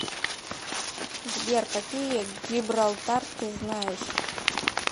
сбер какие гибралтар ты знаешь